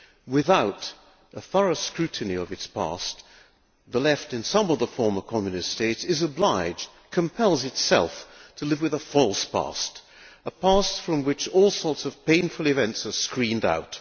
Without a thorough scrutiny of its past, the Left in some of the former Communist states is obliged compels itself to live with a false past, a past from which all sorts of painful events are screened out.